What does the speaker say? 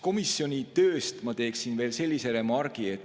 Komisjoni töö kohta teeksin veel sellise remargi.